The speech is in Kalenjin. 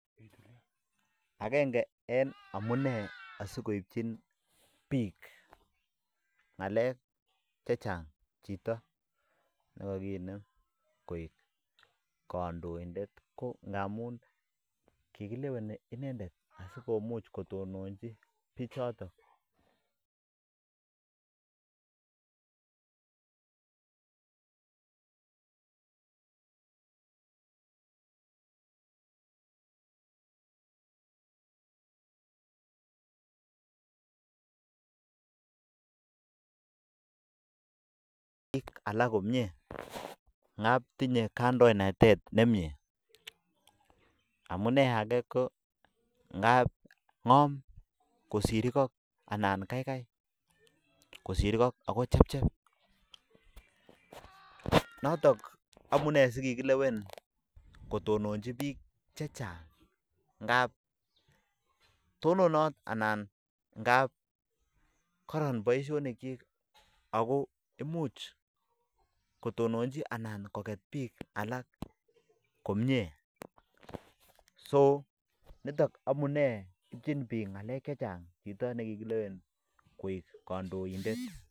Amun kikileweni inendet sikotononji bichatok koraa ko ng'om ako chepchep ako koron baishonik chik